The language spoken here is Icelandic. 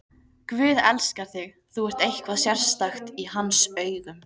Guð elskar þig, þú ert eitthvað sérstakt í hans augum.